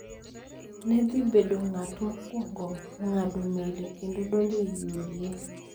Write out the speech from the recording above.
ne dhi bedo ng�at mokwongo ng�ado meli kendo donjo e UDA.